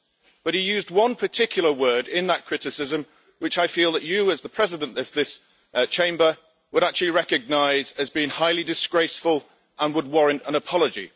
But he used one particular word in that criticism, which I feel that you, as the President this this Chamber, would actually recognise as being highly disgraceful and would warrant an apology.